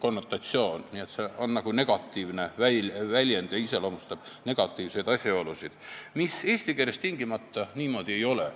konnotatsioon, see on nagu negatiivne väljend ja iseloomustab negatiivseid asjaolusid, mis eesti keeles tingimata niimoodi ei ole.